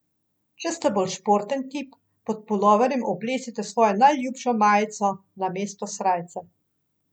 Če ste bolj športen tip, pod puloverjem oblecite svojo najljubšo majico namesto srajce.